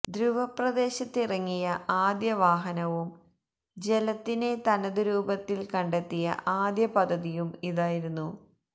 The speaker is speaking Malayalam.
ധ്രൂവ പ്രദേശത്തിറങ്ങിയ ആദ്യ വാഹനവും ജലത്തിനെ തനതു രൂപത്തിൽ കണ്ടെത്തിയ ആദ്യ പദ്ധതിയും ഇതായിരുന്നു